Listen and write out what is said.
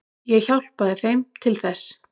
Ég hjálpaði þeim til þess.